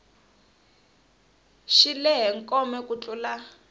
xi lehe kome ku tlula